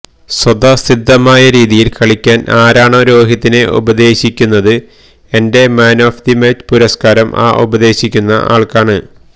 സ്വതസിദ്ധമായ രീതിയില് കളിക്കാന് ആരാണോ രോഹിതിനെ ഉപദേശിക്കുന്നത് എന്റെ മാന് ഓഫ് ദി മാച്ച് പുരസ്കാരം ആ ഉപദേശിക്കുന്ന ആള്ക്കാണ്